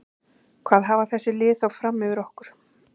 Hvað hafa þessi lið þá fram yfir okkur?